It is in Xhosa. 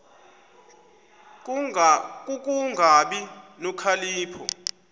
ku kungabi nokhalipho